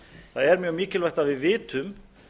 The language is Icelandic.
það er mjög mikilvægt að við vitum